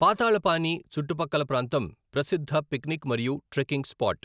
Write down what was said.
పాతాళపానీ చుట్టుపక్కల ప్రాంతం ప్రసిద్ధ పిక్నిక్ మరియు ట్రెక్కింగ్ స్పాట్.